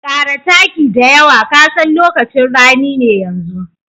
Ƙara taki da yawa ka san lokacin rani ne yanzu.